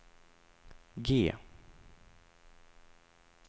G